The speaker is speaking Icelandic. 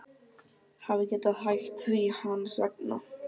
Hafi getað hætt því hans vegna.